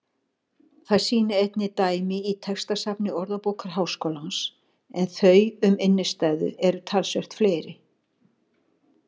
Það sýna einnig dæmi í textasafni Orðabókar Háskólans en þau um innstæðu eru talsvert fleiri.